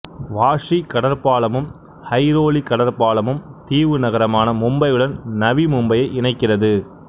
washi கடற்பாலமும் ஐரோலி கடற்பாலமும் தீவு நகரமான மும்பையுடன் நவி மும்பையை இணைக்கிறது